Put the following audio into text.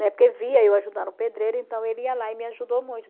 Né Porque via eu ajudando o pedreiro, então ele ia lá e me ajudou muito.